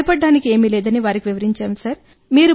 భయపడటానికి ఏమీ లేదని వారికి వివరించాం సార్